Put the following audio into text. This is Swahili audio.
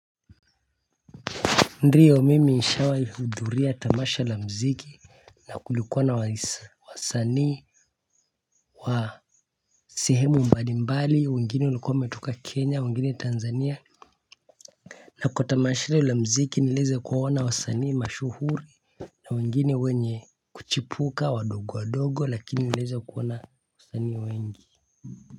Ndiyo mimi nishawai hudhuria tamasha la mziki na kulikuwa na wasanii wa sehemu mbalimbali wengine walikuwa wametoka kenya wengine tanzania na kwa tamasha hilo la mziki nilieza kuwaona wa sanii mashuhuri na wengine wenye kuchipuka wadogo wadogo lakini nilieza kuona wa sanii wengi.